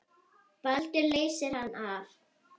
Baldur leysir hann af.